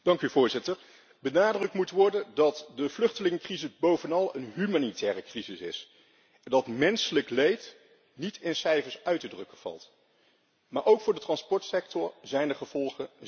Benadrukt moet worden dat de vluchtelingencrisis bovenal een humanitaire crisis is en dat menselijk leed niet in cijfers uit te drukken valt, maar ook voor de transportsector zijn de gevolgen zeer ernstig.